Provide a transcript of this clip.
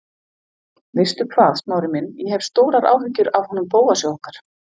Veistu hvað, Smári minn, ég hef stórar áhyggjur af honum Bóasi okkar.